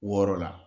Wɔɔrɔ la